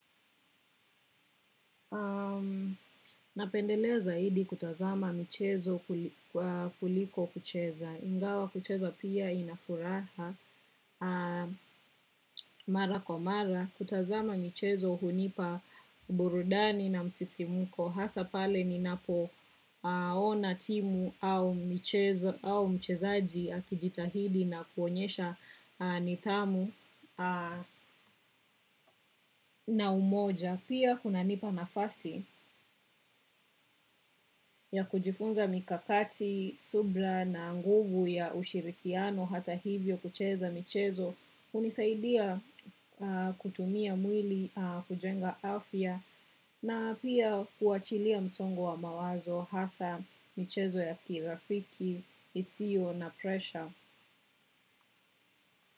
Napendelea zaidi kutazama mchezo kuliko kucheza. Ingawa kucheza pia inafuraha mara kwa mara. Kutazama mchezo hunipa burudani na msisimko. Hasa pale ni napo ona timu au mchezo au mchezaji akijitahidi na kuonyesha nitamu na umoja. Pia kuna nipa nafasi ya kujifunza mikakati, subira na nguvu ya ushirikiano hata hivyo kucheza mchezo hunisaidia kutumia mwili kujenga afya na pia kuachilia msongo wa mawazo hasa michezo ya kirafiki, isio na presha.